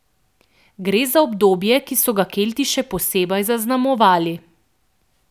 Gre za obdobje, ki so ga Kelti še posebej zaznamovali.